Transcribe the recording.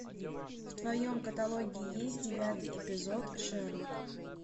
в твоем каталоге есть девятый эпизод шерлок